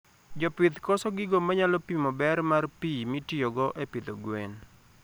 Jopith koso gigo manyalo pimo ber mar pii mitiyogo e pidho gwen